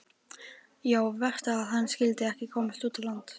Já, verst að hann skyldi ekki komast út á land.